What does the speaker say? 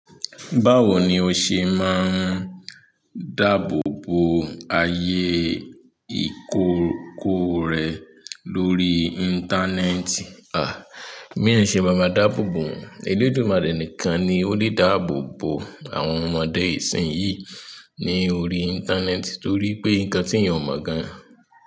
Báwo ni o se maa n daabobo aye ikọkọ rẹ lórí íńtánẹ́ẹ̀tì. À, bi eeyan ṣe maa maa dáàbòbo wọn. Elédùmarè nìkan ni ó lè dáàbò bo àwọn ọmọdé ìsìn yìí ní orí íńtánẹ́ẹ̀tì torí pé nǹkan tí eeyan o mọ̀ gan.